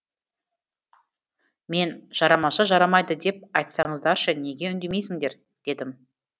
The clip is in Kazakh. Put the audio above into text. мен жарамаса жарамайды деп айтсаңыздаршы неге үндемейсіңдер дедім